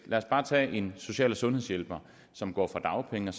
en social og sundhedshjælper som går fra dagpenge